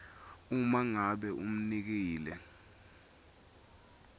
uma ngabe umnikeli